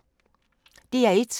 DR1